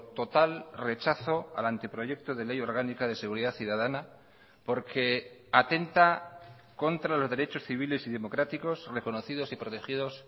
total rechazo al anteproyecto de ley orgánica de seguridad ciudadana porque atenta contra los derechos civiles y democráticos reconocidos y protegidos